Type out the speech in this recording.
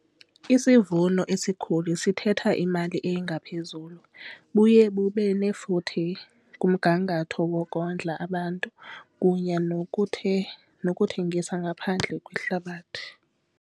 Isivuno esikhulu sithetha imali engaphezulu. Buye bube nefuthe kumgangatho wokondla abantu kunye nokuthengisa ngaphandle kwehlabathi.